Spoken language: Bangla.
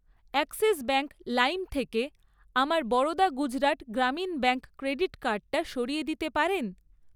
অ্যাক্সিস ব্যাঙ্ক লাইম থেকে আমার বরোদা গুজরাট গ্রামীণ ব্যাঙ্ক ক্রেডিট কার্ডটা সরিয়ে দিতে পারেন?